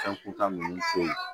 Fɛn kuntan ninnu fɛ yen